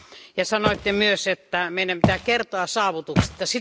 Te sanoitte myös, että meidän pitää kertoa saavutuksista.